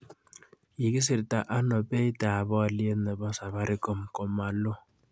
Kigisirta ano beitap oliet ne po safaricom komaloo